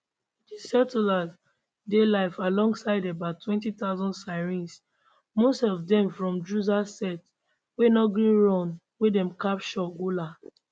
di settlers dey live alongside about 20000 syrians most of dem from druze sect wey no gree run wen dem capture golan